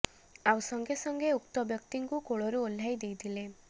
ଆଉ ସଙ୍ଗେ ସଙ୍ଗେ ଉକ୍ତ ବ୍ୟକ୍ତିଙ୍କୁ କୋଳରୁ ଓହ୍ଲାଇ ଦେଇଥିଲେ